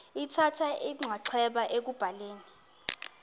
lithatha inxaxheba ekubhaleni